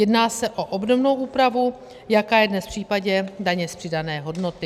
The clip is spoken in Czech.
Jedná se o obdobnou úpravu, jaká je dnes v případě daně z přidané hodnoty.